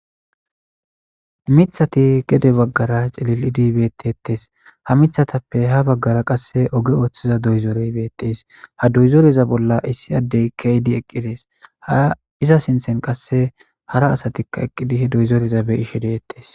Miththathi gede baggara cilil7idi beeththeeththes; ha miththathappe ha baggara qassi oge ooththiza doyzeree beeththees; ha doyzoreza bolli issi addee keeyidi eqqi des; ha ize sinththen qassi hara asathikka eqqidi doyzoretha be7ishe de7eeththes.